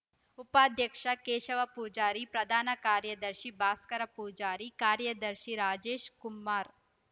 ಉಪಾಧ್ಯಕ್ಷ ಕೇಶವ ಪೂಜಾರಿ ಪ್ರಧಾನ ಕಾರ್ಯದರ್ಶಿ ಭಾಸ್ ಕರ ಪೂಜಾರಿ ಕಾರ್ಯದರ್ಶಿರಾಜೇಶ್‌ ಕುಮ್ ಬರ್